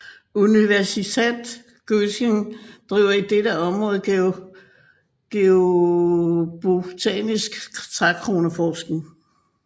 Universität Göttingen driver i dette område geobotanisk trækroneforskning